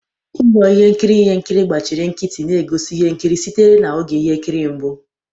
Ụlọ ihe nkiri ihe nkiri gbachiri nkịtị na-egosi ihe nkiri sitere na oge ihe nkiri mbụ.